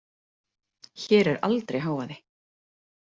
Hér er aldrei hávaði.